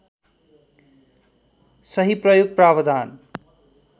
सही प्रयोग प्रावधान